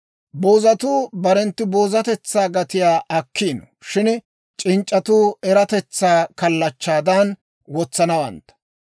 Boozatuu barenttu boozatetsaa gatiyaa akkiino; shin c'inc'c'atuu eratetsaa kallachchaadan wotsanawantta.